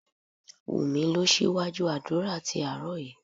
Wunmi lọ síwájú àdúrà tí àárọ̀ yìí